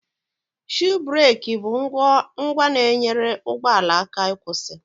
Shuu bereki bụ ngwa na-enyere ụgbọala aka ịkwụsị